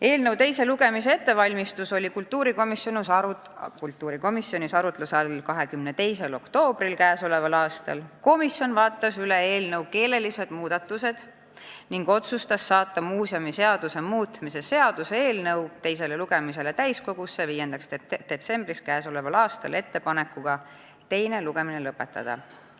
Eelnõu teise lugemise ettevalmistus oli kultuurikomisjonis arutluse all 22. novembril k.a. Komisjon vaatas üle eelnõu keelelised muudatused ning otsustas saata muuseumiseaduse muutmise seaduse eelnõu teisele lugemisele täiskogusse 5. detsembriks k.a ettepanekuga teine lugemine lõpetada.